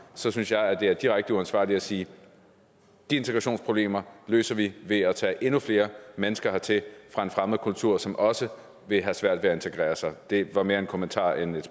så synes jeg det er direkte uansvarligt at sige at de integrationsproblemer løser vi ved at tage endnu flere mennesker hertil fra en fremmed kultur som også vil have svært ved at integrere sig det var mere en kommentar end et